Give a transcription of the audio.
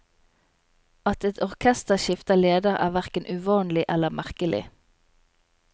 At et orkester skifter leder, er hverken uvanlig eller merkelig.